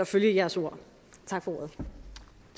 følge jeres ord